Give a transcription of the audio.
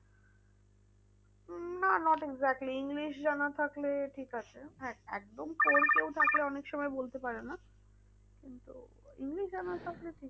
উম না not exactly english জানা থাকলে ঠিক আছে। হ্যাঁ একদম poor কেউ থাকলে অনেক সময় বলতে পারে না। কিন্তু english জানা থাকলে ঠিক